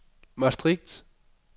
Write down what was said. Maastricht